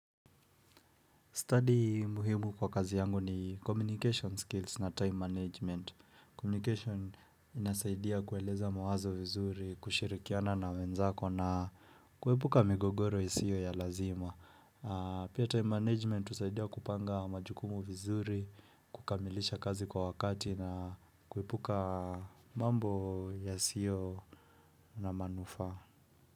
Study muhimu kwa kazi yangu ni communication skills na time management. Communication inasaidia kueleza mawazo vizuri, kushirikiana na wenzako na kuwepuka migogoro isiyo ya lazima. Pia time management usaidia kupanga majukumu vizuri, kukamilisha kazi kwa wakati na kuwepuka mambo yasiyo na manufaa.